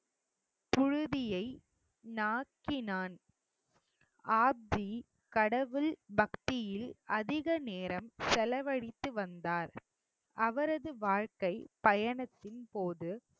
புழுதியை நாக்கினான் ஆப்ஜி கடவுள் பக்தியில் அதிக நேரம் செலவழித்து வந்தார் அவரது வாழ்க்கைப் பயணத்தின் போது